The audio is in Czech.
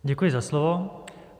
Děkuji za slovo.